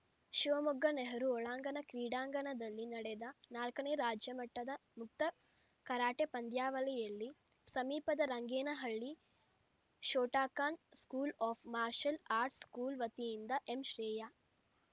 ಶಿವಮೊಗ್ಗ ನೆಹರೂ ಒಳಾಂಗಣ ಕ್ರೀಡಾಂಗಣದಲ್ಲಿ ನಡೆದ ನಾಲ್ಕನೇ ರಾಜ್ಯಮಟ್ಟದ ಮುಕ್ತ ಕರಾಟೆ ಪಂದ್ಯಾವಳಿಯಲ್ಲಿ ಸಮೀಪದ Rangenahalli Shotokan school of ಮಾರ್ಶಲ್‌ ಆಟ್ಸ್‌ರ್‍ school ವತಿಯಿಂದ ಎಂಶ್ರೇಯಾ